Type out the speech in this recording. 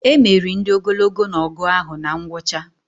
Emeri ndị ogologo na ọgụ ahụ na ngwụcha